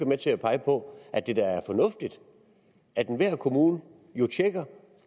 med til at pege på at det da er fornuftigt at enhver kommune tjekker